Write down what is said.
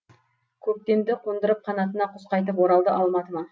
көктемді қондырып қанатына құс қайтып оралды алматыма